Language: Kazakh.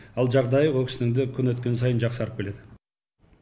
ал жағдайы ол кісінің де күн өткен сайын жақсарып келеді